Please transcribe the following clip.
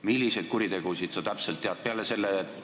Milliseid kuritegusid sa täpselt tead?